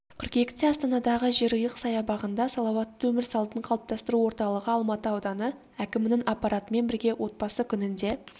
қыркүйекте астанадағы жерұйық саябағында салауатты өмір салтын қалыптастыру орталығы алматы ауданы әкімінің аппаратымен бірге отбасы күніне